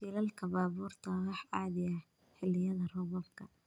Shilalka baabuurtu waa wax caadi ah xilliyada roobabka.